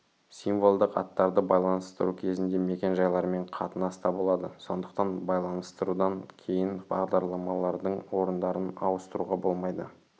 символдық аттарды байланыстыру кезінде мекен-жайлармен қатынаста болады сондықтан байланыстырудан кейін бағдарламалардың орындарын ауыстыруға болмайды